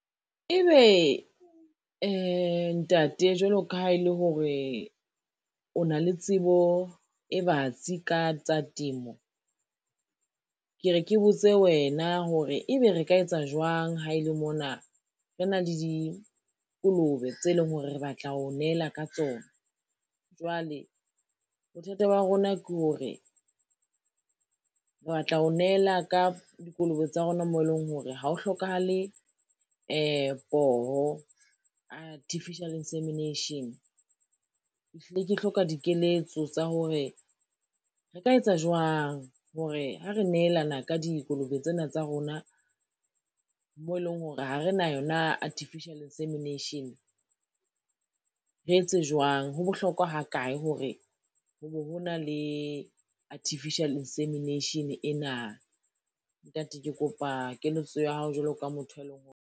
Ebe ntate jwalo ka ha e le hore o na le tsebo e batsi ka tsa temo, ke re ke botse wena hore ebe re ka etsa jwang ha e le mona, re na le dikolobe tse leng hore re batla ho nehela ka tsona. Jwale bothata ba rona ke hore, re batla ho nehela ka dikolobe tsa rona mo eleng hore ha o hlokahale poho artificial insemination. Ke hlile ke hloka dikeletso tsa hore, re ka etsa jwang hore ha re nehelana ka dikolobe tsena tsa rona, moo eleng hore ha re na yona artificial insemination, re etse jwang, ho bohlokwa ha kae hore ho be ho na le artificial insemination ena? Ntate ke kopa keletso ya hao jwalo ka motho, e leng hore.